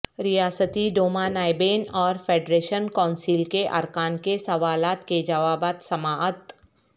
ریاستی ڈوما نائبین اور فیڈریشن کونسل کے ارکان کے سوالات کے جوابات سماعت